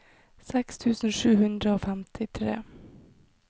seks tusen sju hundre og femtitre